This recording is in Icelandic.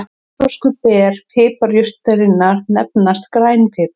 Óþroskuð ber piparjurtarinnar nefnast grænn pipar.